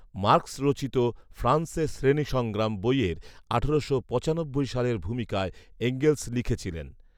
Marks রচিত ‘ফ্রান্সে শ্রেণীসংগ্রাম’ বইয়ের আঠারোশো পঁচানব্বই সালের ভূমিকায় এঙ্গেলস লিখেছিলেন।